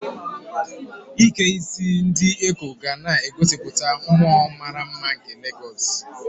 Ike isi ndi Ekó ga na-egosipụta mmụọ mara mma nke Legosu.